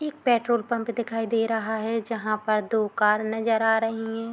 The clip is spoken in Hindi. एक पेट्रोल पंप दिखाई दे रहा है जहाँ पर दो कार नजर आ रही है।